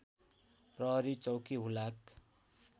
प्रहरी चौकी हुलाक